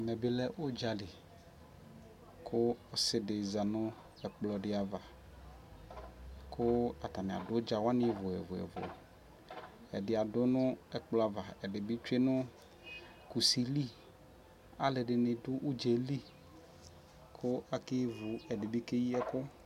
ɛmɛbilɛ ʋdzali kʋ ɔsii di zanʋ ɛkplɔ di aɣa kʋ atani adʋ ʋdza waniɛlʋɛlʋ, ɛdi adʋ nʋ ɛkplɔ aɣa ɛdibi twɛ nʋ kʋsi li, alʋɛdini dʋ ʋdzaɛli kʋ akɛvʋ ɛdini bi kɛyi ɛkʋ